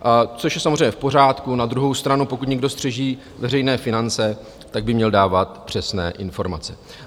Což je samozřejmě v pořádku, na druhou stranu, pokud někdo střeží veřejné finance, tak by měl dávat přesné informace.